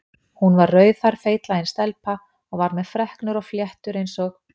Hún var rauðhærð feitlagin stelpa og var með freknur og fléttur eins og